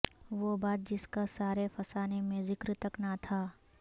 وہ بات جسکا سارے فسانے میں ذکر تک نہ تھا